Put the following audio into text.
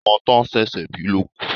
Ọmọ to sẹ̀sé̩ bi ló kú